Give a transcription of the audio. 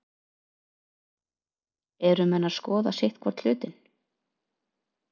Eru menn að skoða sitthvorn hlutinn?